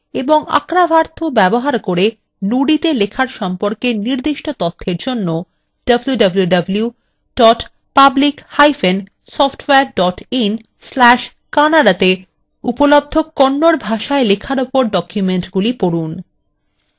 kannada ভাষায় লেখা এবং arkavathu ব্যবহার করে nudi তে লেখার সম্পর্কে নির্দিষ্ট তথ্যর জন্য www publicsoftware in/kannada তে উপলব্ধ kannada ভাষায় লেখার উপর ডকুমেন্টগুলি পড়ুন